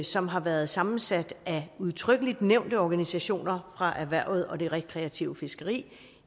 som har været sammensat af udtrykkeligt nævnte organisationer fra erhvervet og det rekreative fiskeri